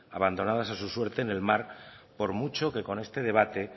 abandonadas a su suerte en el mar por mucho que con este debate